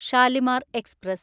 Shalimar express